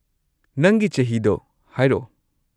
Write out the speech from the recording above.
ꯅꯪꯒꯤ ꯆꯍꯤꯗꯣ ꯍꯥꯏꯔꯛꯑꯣ꯫